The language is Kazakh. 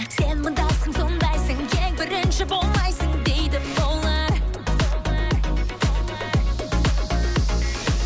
сен мындайсың сондайсың ең бірінші болмайсың дейді олар